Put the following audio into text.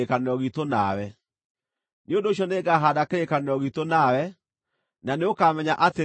Nĩ ũndũ ũcio nĩngahaanda kĩrĩkanĩro giitũ nawe, na nĩũkamenya atĩ niĩ nĩ niĩ Jehova.